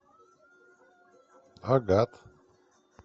агат